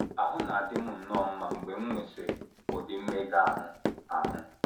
Ahụ na - adị m nnọọ mma mgbe m nwesịrị ụdị mmega ahụ ahụ.